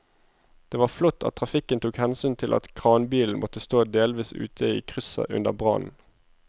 Det var flott at trafikken tok hensyn til at kranbilen måtte stå delvis ute i krysset under brannen.